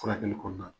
Furakɛli kɔɔna na